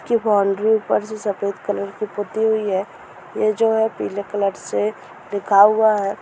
इसकी बाउंड्री ऊपर से सफेद कलर से पुती हुई है ये जो है पीले कलर से लिखा हुआ है।